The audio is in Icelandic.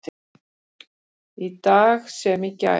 Í dag sem í gær.